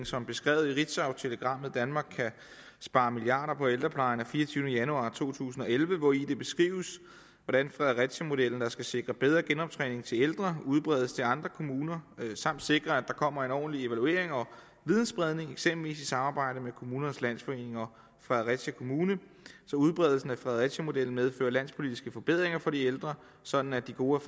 som beskrevet i ritzautelegrammet danmark kan spare milliarder på ældrepleje af fireogtyvende januar to tusind og elleve hvori det beskrives hvordan fredericiamodellen der skal sikre bedre genoptræning til ældre udbredes til andre kommuner samt sikre at der kommer en ordentlig evaluering og videnspredning eksempelvis i samarbejde med kommunernes landsforening og fredericia kommune så udbredelsen af fredericiamodellen medfører landspolitiske forbedringer for de ældre sådan at de gode